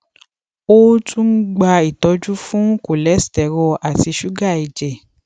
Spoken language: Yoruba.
o tun n gba itọju fun cholesterol ati suga ẹjẹ